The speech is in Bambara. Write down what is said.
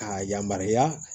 K'a yamaruya